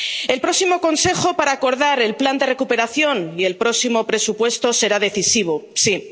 El próximo Consejo para acordar el plan de recuperación y el próximo presupuesto será decisivo, sí.